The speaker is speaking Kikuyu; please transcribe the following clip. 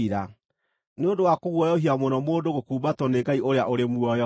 Nĩ ũndũ wa kũguoyohia mũno mũndũ gũkumbatwo nĩ Ngai ũrĩa ũrĩ muoyo.